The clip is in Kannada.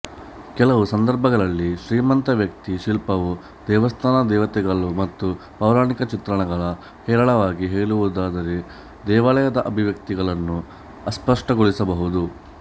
ಕೆಲವು ಸಂದರ್ಭಗಳಲ್ಲಿ ಶ್ರೀಮಂತ ವ್ಯಕ್ತಿ ಶಿಲ್ಪವು ದೇವಸ್ಥಾನ ದೇವತೆಗಳು ಮತ್ತು ಪೌರಾಣಿಕ ಚಿತ್ರಣಗಳು ಹೇರಳವಾಗಿ ಹೇಳುವುದಾದರೆ ದೇವಾಲಯದ ಅಭಿವ್ಯಕ್ತಿಗಳನ್ನು ಅಸ್ಪಷ್ಟಗೊಳಿಸಬಹುದು